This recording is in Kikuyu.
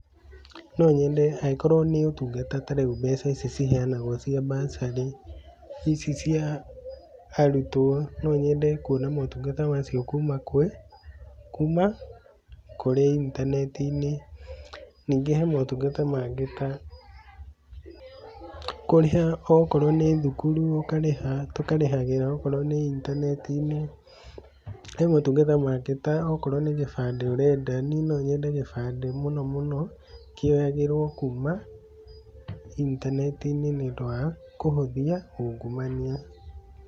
No nyende angĩkorwo nĩ ũtungata ta rĩu mbeca ici iheanagwo cia bursary, ici cia arutwo no nyende kuona motungata macio kuma kwĩ, kuma kũrĩ intaneti-inĩ, ningĩ he motungata mangĩ ta, kũrĩha okorwo ni thukuru, ũkarĩha tũkarĩhagĩra okorwo nĩ intaneti-inĩ, he motungata mangĩ ta okorwo nĩ gĩbandĩ ũrenda, niĩ nonyende gĩbandĩ mũno mũno kĩoyagĩrwo kuma intaneti-inĩ, nĩũndũ wa kũhũthia ungumania.